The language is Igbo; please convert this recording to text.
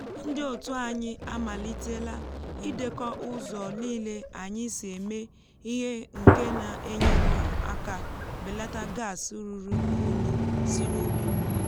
ndị otu anyị amalitela idekọ ụzọ nile anyị si eme ihe nke na-enyere aka belata gas ruru unyi si n’ubi.